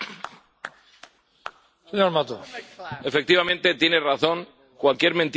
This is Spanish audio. Efectivamente, tiene razón cualquier mentira puede pasar una estadística, incluso las suyas.